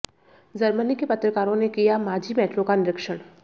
Germany के पत्रकारों ने किया माझी मेट्रो का निरीक्षण